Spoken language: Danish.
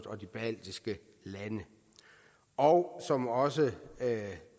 og de baltiske lande og som også